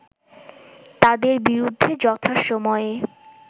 তাদের বিরুদ্ধে যথাসময়ে